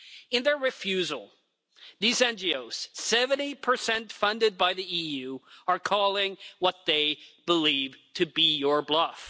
In their refusal, these NGOs, 70 funded by the EU, are calling what they believe to be your bluff.